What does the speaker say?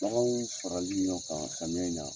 Baganw farali ɲɔgɔn kan samiyɛn in na.